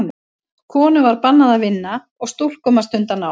Konum var bannað að vinna og stúlkum að stunda nám.